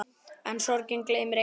En sorgin gleymir engum.